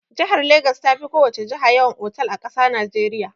Jihar Legas ta fi ko wace jiha yawan otal a ƙasar Najeriya.